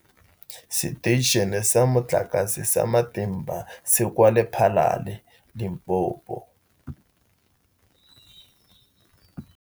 Seteišene sa Motlakase sa Matimba se kwa Lephalale, Limpopo.